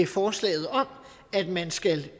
forslaget om at man skal